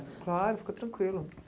Claro, fica tranquilo.